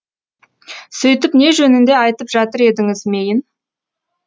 сөйтіп не жөнінде айтып жатыр едіңіз мейн